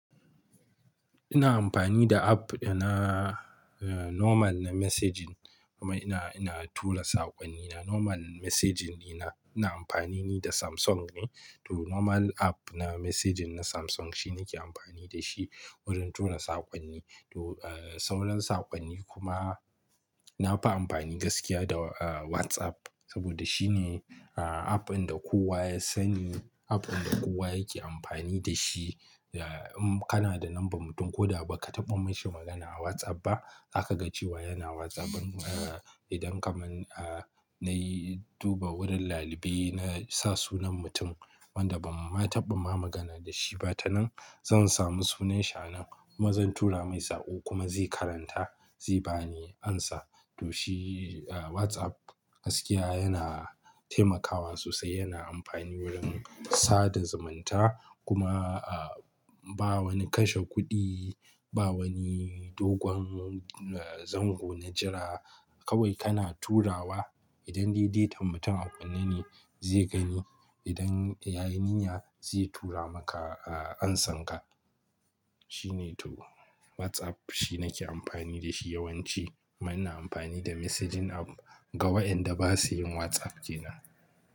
Ina amfani da app na normal na messaging kuma ina, ina tura saƙonnina. Normal messaging ina, ina amfanini da Samsung ne. To normal app na messaging na Samsung shine nake amfani da shi wurin tura saƙonni. To, sauran saƙonni kuma nafi amfani gaskiya da WhatsApp saboda shine app inda kowa ya sani, app inda kowa yake amfani da shi. Eh, in kana da number mutum ko da ba ka taɓa mashi magana a WhatsApp ba, zaka ga cewa yana WhatsApp din. Idan kaman nayi duba wurin ɗalibi na sa sunan mutum wanda ban ma taɓa ba magana da shi ba, tanan zan samu sunan shi anan kuma zan tura mai saƙo kuma zai karanta zai bani amsa. To shi WhatsApp gaskiya yana taimakawa sosai, yana amfani wurin sada zumunta kuma ba wani kashe kuɗi, ba wani dogon zango na jira. Kawai kana turawa. Idan dai datan mutum a kunne ne zai gani, idan ya yi niyya zai tura maka amsan ka. Shine to WhatsApp shine nake amfani da shi yawanci. Amma ina amfani da messaging app ga wai'nda ba su yin WhatsApp kenan.